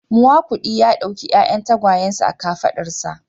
Miakudi ya dauki 'ya'yan tagwayensa a kafadarsa